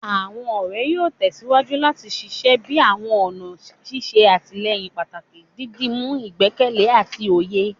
Awọn ọrẹ yoo tẹsiwaju lati ṣiṣẹ bi awọn ọna ṣiṣe atilẹyin pataki, didimu igbẹkẹle ati oye